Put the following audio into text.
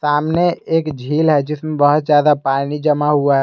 सामने एक झील है जिसमें बहुत ज्यादा पानी जमा हुआ है।